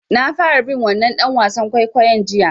Na fara bin wannan ɗan wasan kwaikwayon jiya.